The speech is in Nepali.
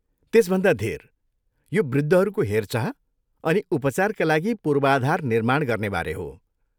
त्यसभन्दा धेर, यो वृद्धहरूको हेरचाह अनि उपचारका लागि पूर्वाधार निर्माण गर्नेबारे हो।